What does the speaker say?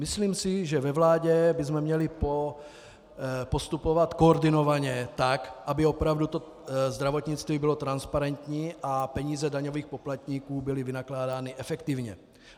Myslím si, že ve vládě bychom měli postupovat koordinovaně tak, aby opravdu to zdravotnictví bylo transparentní a peníze daňových poplatníků byly vynakládány efektivně.